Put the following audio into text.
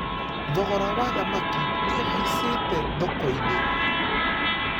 Thogora wa thamaki nĩũhaicite thokoinĩ.